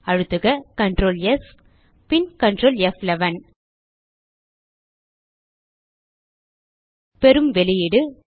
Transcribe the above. அழுத்துக Ctrls பின் Ctrl ப்11 பெறும் வெளியீடு